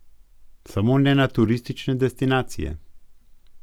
Samo ne na turistične destinacije.